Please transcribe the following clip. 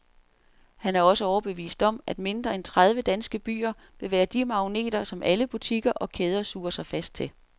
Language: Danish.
Han er også overbevist om, at mindre end tredive danske byer vil være de magneter, som alle butikker og kæder suger sig fast til.